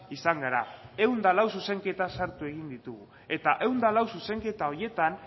izan gara ehun eta lau zuzenketa sartu egin ditugu eta ehun eta lau zuzenketa horietan